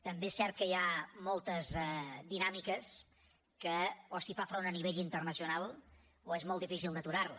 també és cert que hi ha moltes dinàmiques que o s’hi fa front a nivell internacional o és molt difícil d’aturar les